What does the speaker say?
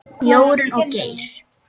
Jórunn og Geir.